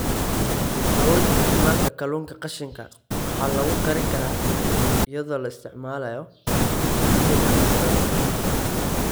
Awoodda Isticmaalka Kalluunka qashinka waxaa lagu korin karaa iyadoo la isticmaalayo hadhaaga cuntada.